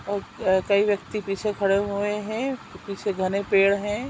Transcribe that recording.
और कई व्यक्ति पीछे खड़े हुए है अ पीछे घने पेड़ है।